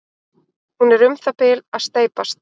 hún er um það bil að steypast